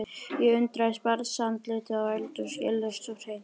Ég undrast barnsandlitið á Öldu, skýlaust og hreint.